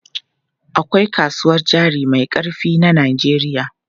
Akwai kasuwar jari mai ƙarfi na Najeriya.